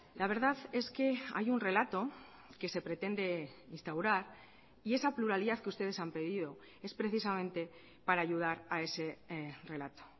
la verdad es que hay un relato que se pretende instaurar y esa pluralidad que ustedes han pedido es precisamente para ayudar a ese relato